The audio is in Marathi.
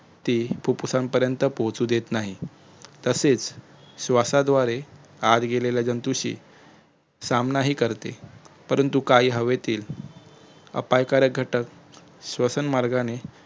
ती फुप्फुसापर्यँत पोहचु देत नाही तसेच श्वासाद्वारे आत गेलेल्या जंतूंशी सामना ही करते परंतु काही हवेतील अपायकारक घटक श्वसनमार्गाने